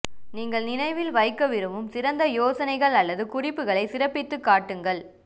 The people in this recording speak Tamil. நீங்கள் நினைவில் வைக்க விரும்பும் சிறந்த யோசனைகள் அல்லது குறிப்புகளை சிறப்பித்துக் காட்டுங்கள்